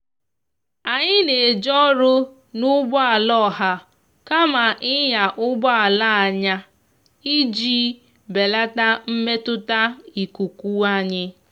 anyi na eje ọrụ na ụgbọ ala oha kama inya ụgbọ ala anya iji belata mmetụta ikuku anyi